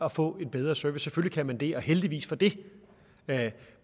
at få en bedre service selvfølgelig kan man det og heldigvis for det